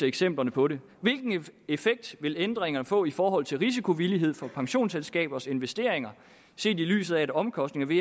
eksempler på det hvilken effekt vil ændringerne få i forhold til risikovillighed for pensionsselskabernes investeringer set i lyset af at omkostningerne